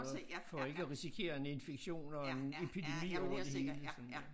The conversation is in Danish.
For for ikke at risikere en infektion og en epidemi over det hele sådan